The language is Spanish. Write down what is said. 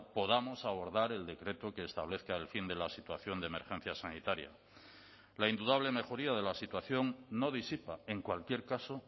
podamos abordar el decreto que establezca el fin de la situación de emergencia sanitaria la indudable mejoría de la situación no disipa en cualquier caso